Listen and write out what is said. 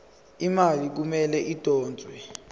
imali kumele idonswe